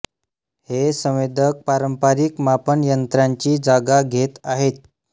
हे संवेदक पारंपरिक मापन यंत्रांची जागा घेत आहेत